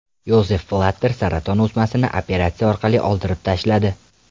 Yozef Blatter saraton o‘smasini operatsiya orqali oldirib tashladi.